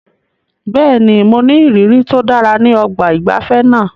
Bẹ́ẹ̀ni, mo ní ìrírí tó dára ní ọgbà ìgbafẹ́ náà.